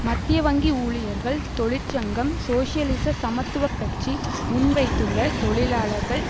மத்திய வங்கி ஊழியர்கள் தொழிற்சங்கம் சோசியலிச சமத்துவ கட்சி முன்வைத்துள்ள தொழிலாளர்கள்